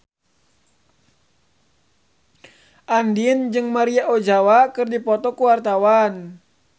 Andien jeung Maria Ozawa keur dipoto ku wartawan